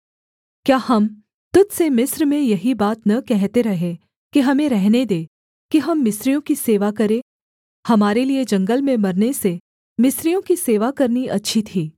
क्या हम तुझ से मिस्र में यही बात न कहते रहे कि हमें रहने दे कि हम मिस्रियों की सेवा करें हमारे लिये जंगल में मरने से मिस्रियों कि सेवा करनी अच्छी थी